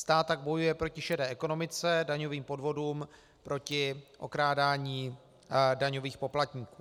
Stát tak bojuje proti šedé ekonomice, daňovým podvodům, proti okrádání daňových poplatníků.